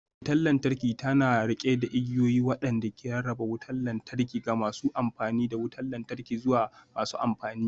Wutar lantarki tana riƙe da igiyoyi waɗanda ke rarraba wutar lantarki daga masu amfani da wutar lantarki zuwa masu amfani